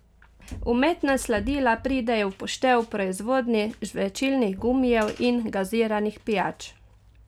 Umetna sladila pridejo v poštev v proizvodnji žvečilnih gumijev in gaziranih pijač.